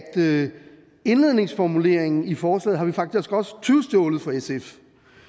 indledningsformuleringen i forslaget har vi faktisk også tyvstjålet fra sf